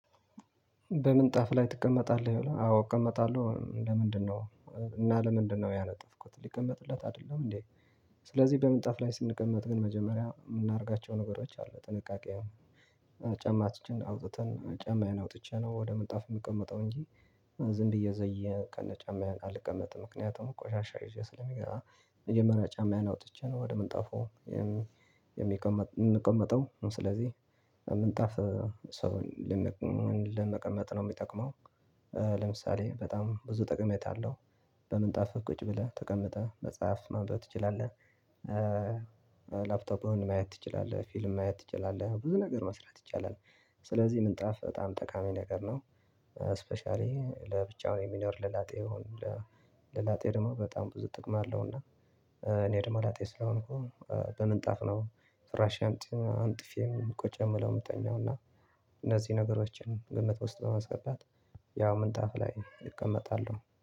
በምን ጣፍ ላይ ትቀመጣለህ? ይሆ አዎ እቀመጣለሁ ለምንድነው እና ለምንድነው ያነጠፍኩት ሊቀመጥለት አይደለም እንዴ? ስለዚህ በምንጣፍ ላይ ስንቀመጥ ግን መጀመሪያ የምናደርጋቸው ነገሮች አሉ ጥንቃቄ ጫማችን አውጥተን ጫማዬን አውጥቼ ነው ወደ ምንጣፍ የምቀመጠው እንጂ ዝም ብዬ ዘየ ከነ ጫማዬን አልቀመጥም። ምክንያቱም ቆሻሻ ይዤ ስለምገባ መጀመሪያ ጫማዬን አውጥቼ ነው ወደ ምን ጣፉ የሚቀመጠው የምንቀመጠው ስለዚህ ምንጣፍ ሰውን ለመቀመጥ ነው የሚጠቅመው። ለምሳሌ በጣም ብዙ ጥቀሜታ አለው። በምንጣፍ ቁጭ ብለህ ተቀምጠህ መጽሐፍ ማንበብ ትችላለህ። ላፕቶፕህን ማየት ትችላለህ ፊልም ማየት ትችላለህ ብዙ ነገር መስራት ይቻላል። ስለዚህ ምንጣፍ በጣም ጠቃሚ ነገር ነው። ስፔሻሊ ለብቻው የሚኖር ለላጤው ይሆን። ለላጤ ደግሞ በጣም ብዙ ጥቅም አለው እና። እኔ ደግሞ ላጤ ስለሆንኩ በምንጣፍ ነው ፍራሽ አንጥፌም ቁጭ የምለው የምትተኛው እና እነዚህ ነገሮችን ግምት ውስጥ በማስገባት ያው ምንጣፍ ላይ እቀመጣሉሁ።